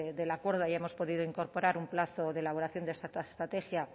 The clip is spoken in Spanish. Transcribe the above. del acuerdo hayamos podido incorporar un plazo de elaboración de esta estrategia